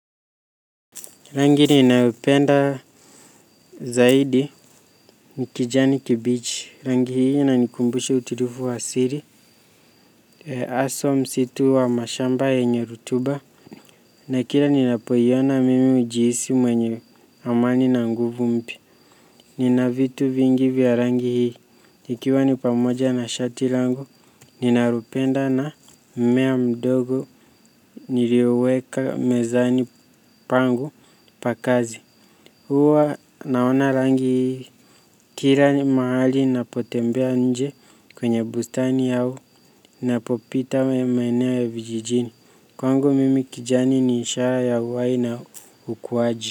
Rangi ninayopenda zaidi ni kijani kibichi, rangi hii inanikumbusha utulivu wa asili, haswa msitu wa mashamba yenye rutuba, na kila ninapoiona mimi hujihisi mwenye amani na nguvu mpya. Nina vitu vingi vya rangi hii, ikiwa ni pamoja na shati langu, ninalopenda na mmea mdogo nilioweka mezani pangu pa kazi. Huwa naona rangi kila mahali ninapotembea nje kwenye bustani au ninapopita maeneo ya vijijini. Kwangu mimi kijani ni ishara ya uhai na ukuaji.